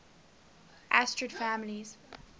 asterid families